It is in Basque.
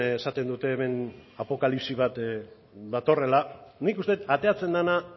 esaten dute hemen apokalipsi bat datorrela nik uste dut ateratzen dena